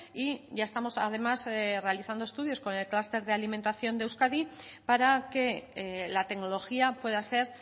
y ya estamos además realizando estudios con el cluster de alimentación de euskadi para que la tecnología pueda ser